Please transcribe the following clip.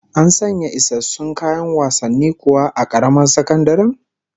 An sanya isassun kayan wasanni kuwa a karamar sakandaren?